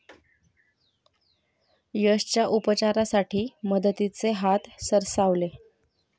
यशच्या उपचारासाठी मदतीचे हात सरसावले